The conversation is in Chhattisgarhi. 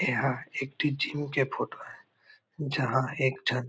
एहा एक ठी जिम के फोटो हे जहाँ एक झन--